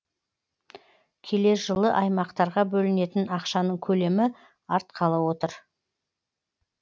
келер жылы аймақтарға бөлінетін ақшаның көлемі артқалы отыр